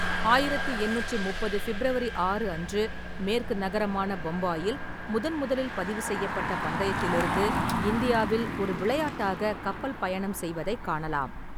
ஆயிரத்தி எண்ணூற்றி முப்பது ஃபிப்ரவரி ஆறு அன்று மேற்கு நகரமான பம்பாயில் முதன்முதலில் பதிவுசெய்யப்பட்ட பந்தயத்திலிருந்து இந்தியாவில் ஒரு விளையாட்டாக கப்பல் பயணம் செய்வதைக் காணலாம்.